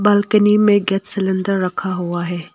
Balcony में gas cylinder रखा हुआ है।